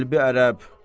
Qəlbi ərəb.